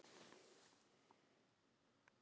Það gerðist ekki núna.